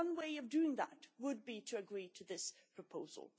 One way of doing that would be to agree to this proposal.